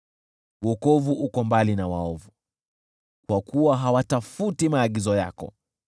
Wokovu uko mbali na waovu, kwa kuwa hawatafuti maagizo yako.